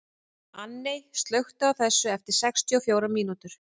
Anney, slökktu á þessu eftir sextíu og fjórar mínútur.